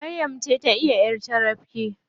Maryam ta iya ƴar carabke.